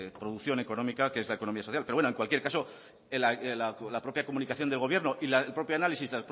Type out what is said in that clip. producción económica que es la economía social pero bueno en cualquier caso la propia comunicación de gobierno y el propio